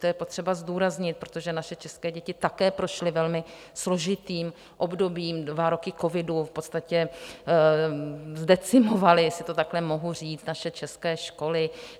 To je potřeba zdůraznit, protože naše české děti také prošly velmi složitým obdobím, dva roky covidu v podstatě zdecimovaly, jestli to takhle mohu říct, naše české školy.